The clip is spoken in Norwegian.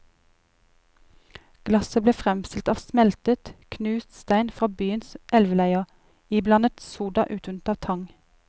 Glasset ble fremstilt av smeltet, knust stein fra byens elveleier, iblandet soda utvunnet av tang.